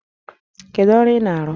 Kedu ọrụ ị na-arụ?